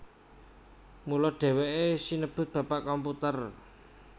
Mula dheweke sinebut Bapak Komputer